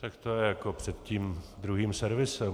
Tak to je jako před tím druhým servisem.